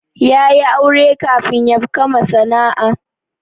Ya yi aure kafin yabkama sana'a